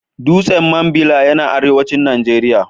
Dutsen Mambila yana arewacin Najeriya.